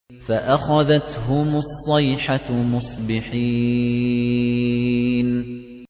فَأَخَذَتْهُمُ الصَّيْحَةُ مُصْبِحِينَ